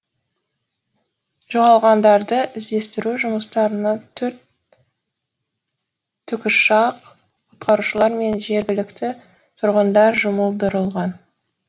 жоғалғандарды іздестіру жұмыстарына төрт тікұшақ құтқарушылар мен жергілікті тұрғындар жұмылдырылған